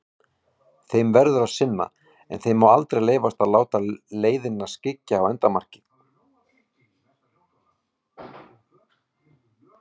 Þeim verður að sinna, en þeim má aldrei leyfast að láta leiðina skyggja á endamarkið.